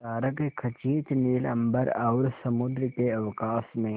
तारकखचित नील अंबर और समुद्र के अवकाश में